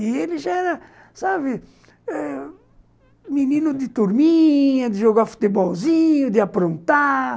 E ele já era, sabe, menino de turminha, de jogar futebolzinho, de aprontar.